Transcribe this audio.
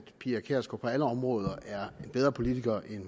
pia kjærsgaard på alle områder er en bedre politiker end